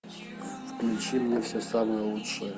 включи мне все самое лучшее